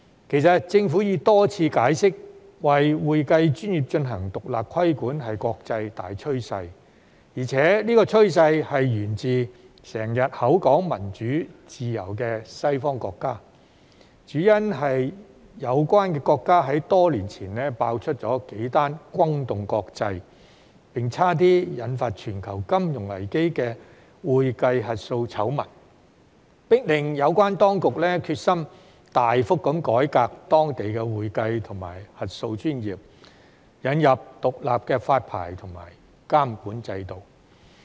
其實，政府已多次解釋，為會計專業進行獨立規管是國際大趨勢，而且這個趨勢源自經常口說民主自由的西方國家，主因是有關國家在多年前爆出數宗轟動國際，並幾乎引發全球金融危機的會計核數醜聞，迫令有關當局決心大幅改革當地的會計及核數專業，引入獨立的發牌和監管制度。